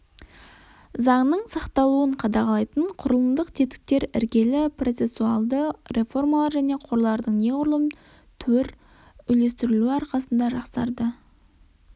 заңның сақталуын қадағалайтын құрылымдық тетіктер іргелі процессуальді реформалар және қорлардың неғұрлым туір үйлестірілуі арқасында жақсарды